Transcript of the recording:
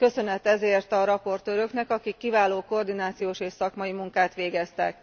Köszönet ezért a raportőröknek, akik kiváló koordinációs és szakmai munkát végeztek.